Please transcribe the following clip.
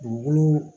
Dugukolo